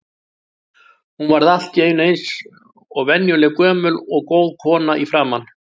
Hún varð allt í einu eins og venjuleg gömul og góð kona í framan.